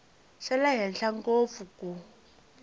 xa le henhla ngopfu ku